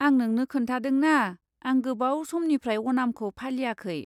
आं नोंनो खोन्थादोंना, आं गोबाव समनिफ्राय अनामखौ फालियाखै।